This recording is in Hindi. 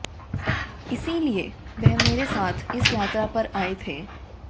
इसीलिए वह मेरे साथ इस यात्रा पर आए थे